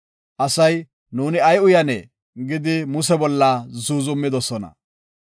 Asay, “Nuuni ay uyanee?” gidi Muse bolla zuuzumidosona.